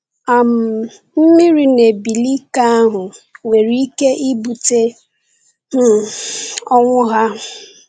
um Mmiri na-ebili ike ahụ nwere ike ibute ọnwụ ha.